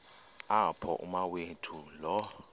apho umawethu lo